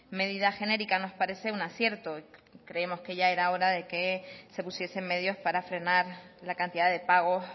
medida genérica nos parece un acierto creemos que ya era hora de que se pusiesen medios para frenar la cantidad de pagos